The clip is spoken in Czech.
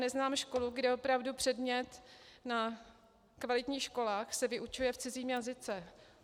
Neznám školu, kde opravdu předmět na kvalitních školách se vyučuje v cizím jazyce.